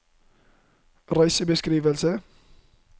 reisebeskrivelse